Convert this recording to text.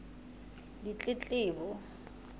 ditletlebo